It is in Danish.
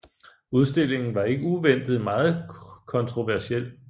Udstillingen var ikke uventet meget kontroversiel